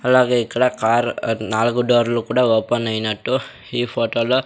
అలాగే ఇక్కడ కార్ నాలుగు డోర్లు కూడా ఓపెన్ ఐనట్టు ఈ ఫొటో లో --